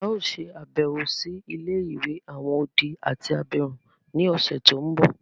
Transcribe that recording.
A o ṣe àbẹ̀wò si ilé-ìwé àwon odi àti abirún ni ọ̀ṣẹ̀ to nbọ.